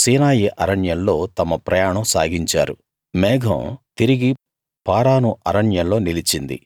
సీనాయి అరణ్యంలో తమ ప్రయాణం సాగించారు మేఘం తిరిగి పారాను అరణ్యంలో నిలిచింది